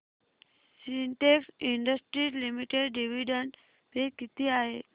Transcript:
Sintex industries limited dividend pay किती आहे